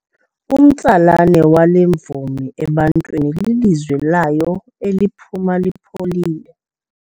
Umtsalane wale mvumi ebantwini lilizwi layo eliphuma lipholile.